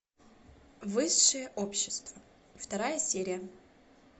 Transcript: высшее общество вторая серия